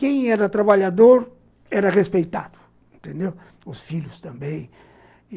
Quem era trabalhador era respeitado, entendeu? os filhos também.